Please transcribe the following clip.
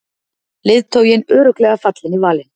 Leiðtoginn örugglega fallinn í valinn